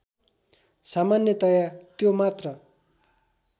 सामान्यतया त्यो मात्र